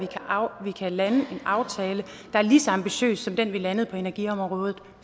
vi kan lande en aftale der er lige så ambitiøs som den vi landede på energiområdet